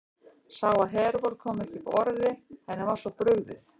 Sá að Hervör kom ekki upp orði, henni var svo brugðið.